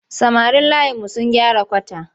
Samarin layinmu sun gyara kwata.